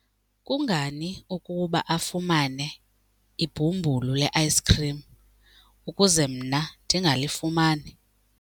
Kungani ukuba afumane ibhumbulu le-ayisikhrim ukuze mna ndingalifumani?